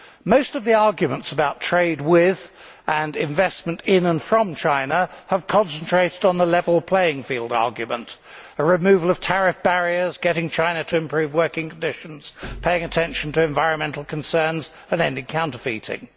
Most of the arguments about trade with and investment in and from China have concentrated on the level playing field argument a removal of tariff barriers, getting China to improve working conditions, paying attention to environmental concerns and ending counterfeiting.